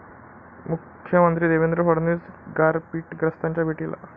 मुख्यमंत्री देवेंद्र फडणवीस गारपीटग्रस्तांच्या भेटीला